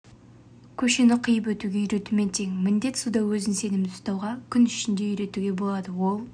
көшені қиып өтуге үйретумен тең міндет суда өзін сенімді ұстауға кун ішінде үйретуге болады ол